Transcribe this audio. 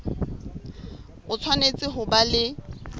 o tshwanetse ho ba le